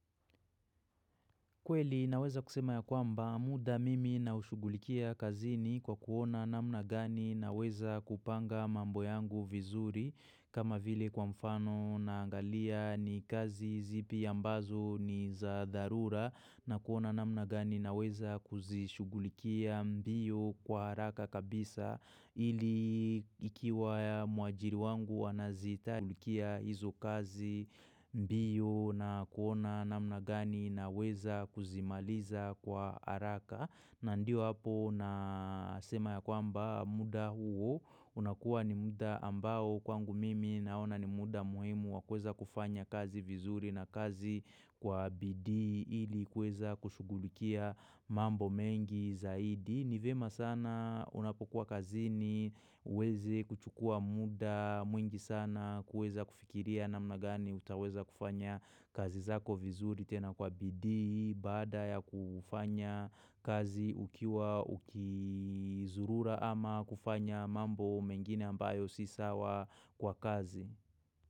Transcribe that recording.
Kweli naweza kusema ya kwamba muda mimi nao ushugulikia kazini kwa kuona namna gani naweza kupanga mambo yangu vizuri kama vile kwa mfano naangalia ni kazi zipi ambazo ni za dharura na kuona namna gani naweza kuzishugulikia mbio kwa haraka kabisa ili ikiwa ya muajiri wangu wanazita. Kushugulikia hizo kazi mbio na kuona namna gani naweza kuzimaliza kwa haraka na ndio hapo na sema ya kwamba muda huo unakua ni muda ambao kwangu mimi naona ni muda muhimu wa kweza kufanya kazi vizuri na kazi kwa bidii ili kuweza kushugulikia mambo mengi zaidi Nivyema sana unapokuwa kazini, uweze kuchukua muda, mwingi sana kuweza kufikiria namna gani utaweza kufanya kazi zako vizuri tena kwa bidii, baada ya kufanya kazi ukiwa ukizurura ama kufanya mambo mengine ambayo si sawa kwa kazi.